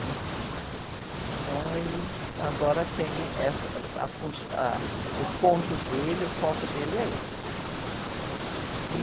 né? Então, ele agora tem, essa, uh, ah, fun, ah, o ponto dele, o foco dele é esse.